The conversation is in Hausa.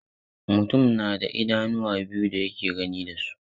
Mutum na da idanuwa biyu da yake gani da su.